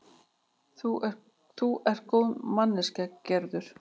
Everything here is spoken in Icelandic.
Þú ert góð manneskja, Gerður.